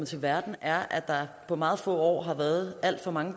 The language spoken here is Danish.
til verden er at der på meget få år har været alt for mange